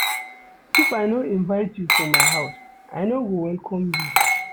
If I no invite you for my house, I no go welcome you.